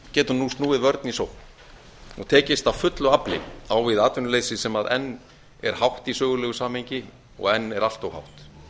getur nú snúið vörn í sókn og tekist af fullu afli á við atvinnuleysið sem enn er hátt í sögulegu samhengi og enn er allt of hátt